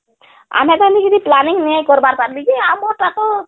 ଆମେ ତ ହେନ୍ତା କିଛିplanning ନେଇଁ କର ପାରବୀକି ,ଆମର ଟା ତ